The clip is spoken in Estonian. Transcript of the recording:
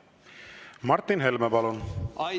Martin Helme, palun!